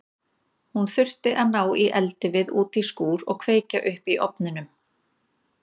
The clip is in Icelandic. Hún þurfti að ná í eldivið út í skúr og kveikja upp í ofnunum.